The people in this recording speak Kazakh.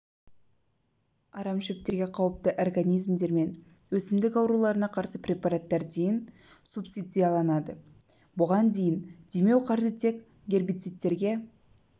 арам шөптерге қауіпті организмдер мен өсімдік ауруларына қарсы препараттар дейін субсидияланады бұған дейін демеу қаржы тек гербицидтерге